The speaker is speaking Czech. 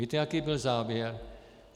Víte jaký byl závěr?